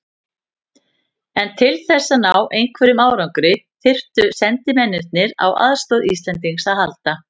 En til þess að ná einhverjum árangri þyrftu sendimennirnir á aðstoð Íslendings að halda.